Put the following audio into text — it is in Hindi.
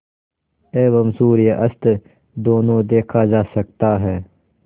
एवं सूर्यास्त दोनों देखा जा सकता है